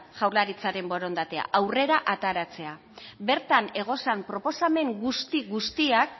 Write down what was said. jaurlaritzaren borondatea aurrera ataratzea bertan egozan proposamen guzti guztiak